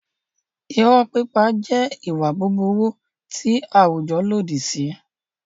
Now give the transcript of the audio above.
Irọ́ pípa jẹ́ ìwà búburú tí àwùjọ lòdì sí.